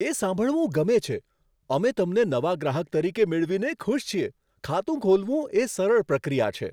એ સાંભળવું ગમે છે! અમે તમને નવા ગ્રાહક તરીકે મેળવીને ખુશ છીએ. ખાતું ખોલવું એ સરળ પ્રક્રિયા છે.